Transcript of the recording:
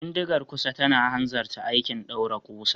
Bindigar kusa tana hanzarta aikin daure kusa.